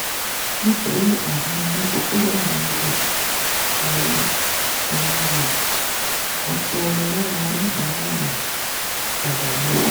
nítorí àìdánilójú tó wà nínú ẹ̀rọ rẹ̀ ọ̀pọ̀ lára oníbàárà rẹ̀ padà lọ.